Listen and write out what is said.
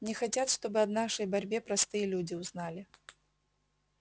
не хотят чтобы о нашей борьбе простые люди узнали